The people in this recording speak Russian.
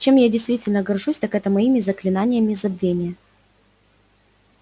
чем я действительно горжусь так это моими заклинаниями забвения